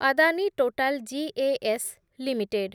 Adani Total gas limited